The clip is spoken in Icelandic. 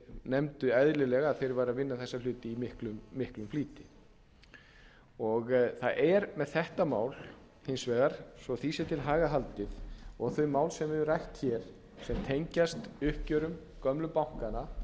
nefndu eðlilega að þeir væru að vinna þessa hluti í miklum flýti það er með þetta mál hins vegar svo að því sé til haga haldið og þau mál sem við höfum rætt hér sem tengjast uppgjörum gömlu bankanna